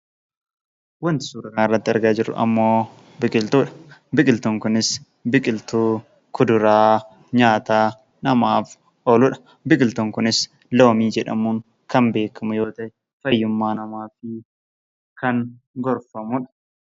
Wanti suuraa kana irratti argaa jirru ammoo biqiltuu dha. Biqiltuun kunis biqiltuu kuduraa nyaata namaaf oolu dha. Biqiltuun kunis loomii jedhamuun kan beekamu yoo ta'e, fayyummaa namaatiif kan gorfamu dha.